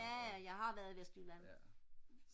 jaja jeg har været i Esbjerg